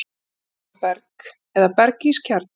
Í miðjunni er svo berg eða berg-ís kjarni.